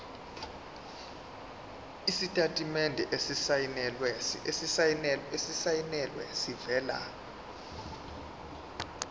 isitatimende esisayinelwe esivela